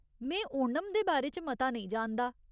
में ओणम दे बारे च मता नेईं जानदा।